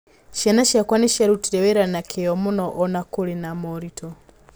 Ciana ciakwa nĩ ciarutire wĩra na kĩyo mũno o na kũrĩ na moritũ.